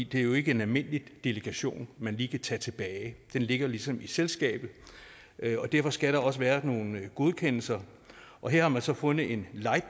det er jo ikke en almindelig delegation man lige kan tage tilbage den ligger ligesom i selskabet derfor skal der også være nogle godkendelser og her har man så fundet en